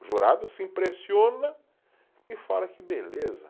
O jurado se impressiona e fala que beleza.